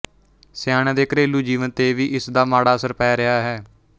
ਸਿਆਣਿਆਂ ਦੇ ਘਰੇਲੂ ਜੀਵਨ ਤੇ ਵੀ ਇਸ ਦਾ ਮਾੜਾ ਅਸਰ ਪੈ ਰਿਹਾ ਹੈ